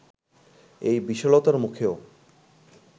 এই বিশালতার মুখেও